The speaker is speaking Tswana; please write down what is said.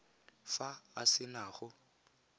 fa a se na go